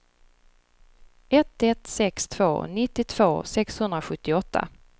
ett ett sex två nittiotvå sexhundrasjuttioåtta